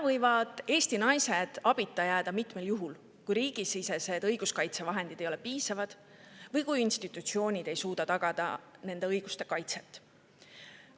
Eesti naised võivad abita jääda mitmel juhul: kui riigisisesed õiguskaitsevahendid ei ole piisavad või kui institutsioonid ei suuda tagada nende õiguste kaitset.